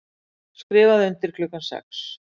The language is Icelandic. Skrifað undir klukkan sex